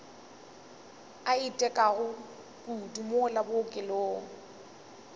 a itekago kudu mola bookelong